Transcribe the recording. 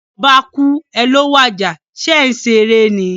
Oba kúú, è è ló wàjà, sé é n seré ni?